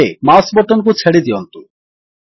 ଏବେ mouse button କୁ ଛାଡ଼ି ଦିଅନ୍ତୁ